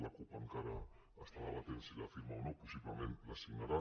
la cup encara està debatent si la firma o no possiblement la signarà